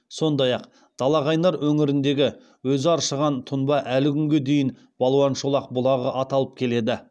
сондай ақ далақайнар өңіріндегі өзі аршыған тұнба әлі күнге дейін балуан шолақ бұлағы аталып келеді